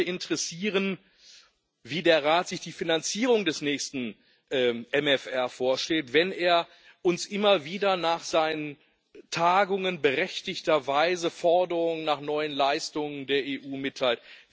Mich würde interessieren, wie sich der Rat die Finanzierung des nächsten MFR vorstellt, wenn er uns immer wieder nach seinen Tagungen berechtigterweise Forderungen nach neuen Leistungen der EU mitteilt.